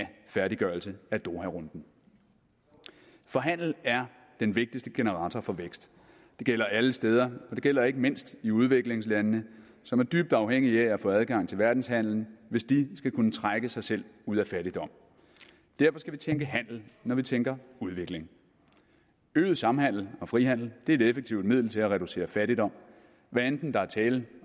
færdiggørelse af doharunden for handel er den vigtigste generator for vækst det gælder alle steder og det gælder ikke mindst i udviklingslandene som er dybt afhængige af at få adgang til verdenshandelen hvis de skal kunne trække sig selv ud af fattigdom derfor skal vi tænke handel når vi tænker udvikling øget samhandel og frihandel er et effektivt middel til at reducere fattigdom hvad enten der er tale